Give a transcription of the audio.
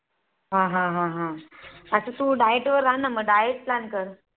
हा हा हा अग तू Diet वर राहणं मग Diet plan कर